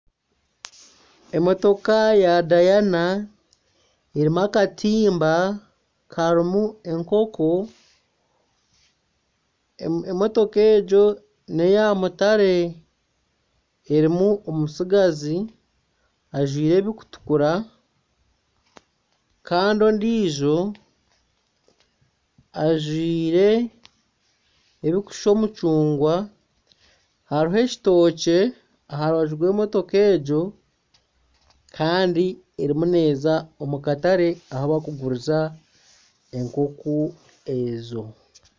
Emotoka ya dayana erimu akatiimba harimu enkoko. Emotoka egyo neya mutare erimu omutsigazi ajwire ebirikutukura Kandi ondijo ajwire ebiri kushusha omucungwa. Hariho ekitokye aha rubaju rw'emotoka egyo Kandi eriyo neza omu katare ahi barikuguriza enkoko ezo.